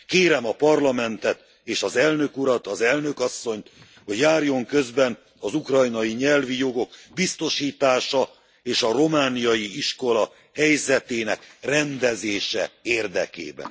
Kérem a Parlamentet és az Elnök Urat, az Elnök Asszonyt, hogy járjon közben az ukrajnai nyelvi jogok biztosítása és a romániai iskola helyzetének rendezése érdekében.